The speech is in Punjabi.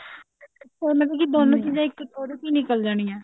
ਉਹਨੇ ਮਤਲਬ ਦੋਨੋ ਚੀਜ਼ਾਂ ਇੱਕ ਉਹਦੇ ਤੋਂ ਨਿਕਲ ਜਾਣੀਆਂ